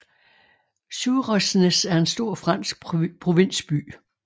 Suresnes er en stor fransk provinsby